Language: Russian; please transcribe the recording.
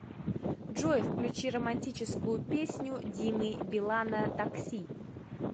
джой включи романтическую песню димы билана такси